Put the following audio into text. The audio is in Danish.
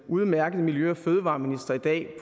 udmærkede miljø og fødevareminister i dag